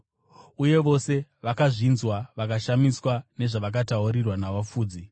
uye vose vakazvinzwa vakashamiswa nezvavakataurirwa navafudzi.